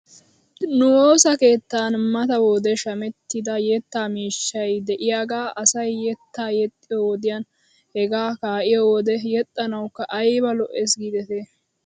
Nu woosa keettan mata wode shamettida yetta miishshay de'iyaagaa asay yettaa yexxiyoo wodiyan hegaa kaa'iyoo wode yexxanawkka ayba lo'es giidetii.